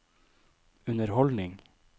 underholdning